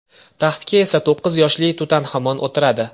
Taxtga esa to‘qqiz yoshli Tutanxamon o‘tiradi.